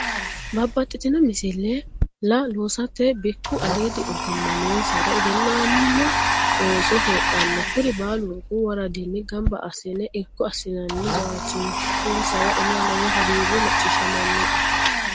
Babbaxxitino misila loossate bikku aliidi ogima noonsari egennamu ooso heedhano kuri baalunku woraddanni gamba assine irko assinanni jawachishisaro anera lowo hagiiri macciishshamanoe.